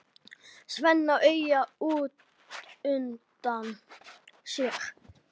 Svenna auga útundan sér.